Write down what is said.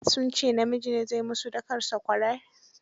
Sun ce namiji ne zaai mussu dakan sakwarar.